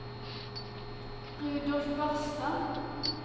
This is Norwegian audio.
Rudolf Barstad